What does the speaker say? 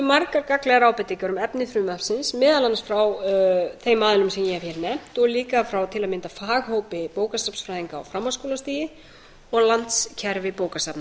margar gagnlegar ábendingar um efni frumvarpsins meðal annars frá þeim aðilum sem ég hef hér nefnt og bóka frá til að mynda faghópi bókasafnsfræðinga á framhaldsskólastigi og landskerfi bókasafna h